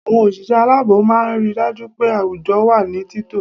Àwọn òṣìṣẹ́ aláàbò máa ń ri dájú pé àwùjọ wà ní títọ́